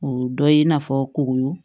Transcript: O dɔ ye i n'a fɔ kuru